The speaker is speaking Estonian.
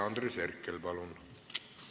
Andres Herkel, palun!